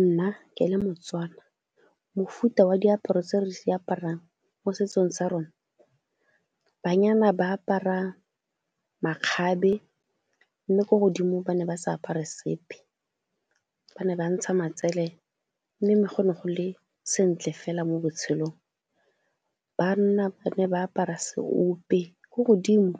Nna ke le Motswana mofuta wa diaparo tse re se aparang mo setsong sa rona, banyana ba apara makgabe mme ko godimo ba ne ba sa apara sepe, ba ne ba ntsha matsele mme go ne go le sentle fela mo botshelong. Banna ba ne ba apara seope, ko godimo